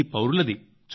ఇది పౌరులది